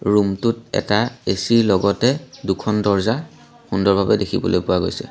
Room টোত এটা A C ৰ লগতে দুখন দৰজা সুন্দৰ ভাৱে দেখিবলৈ পোৱা গৈছে।